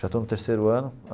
Já estou no terceiro ano.